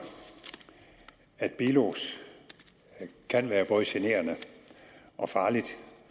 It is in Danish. at bilos kan være både generende og farlig